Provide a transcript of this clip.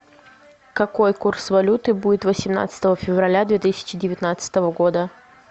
какой курс валюты будет восемнадцатого февраля две тысячи девятнадцатого года